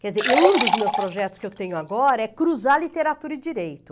Quer dizer, um dos meus projetos que eu tenho agora é cruzar literatura e direito.